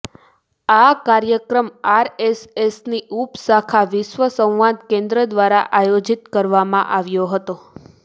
આ કાર્યક્રમ આરએસએસની ઉપ શાખા વિશ્વ સંવાદ કેન્દ્ર દ્વારા આયોજિત કરવામાં આવ્યો હતો